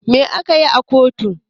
Me a keyi a kotu?